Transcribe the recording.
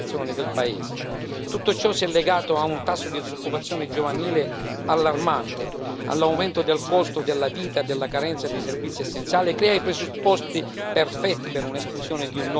Tutto ciò è legato a un tasso di disoccupazione giovanile allarmante e all'aumento del costo della vita e della carenza di servizi essenziali e crea i presupposti perfetti per l'esplosione di un nuovo conflitto sociale.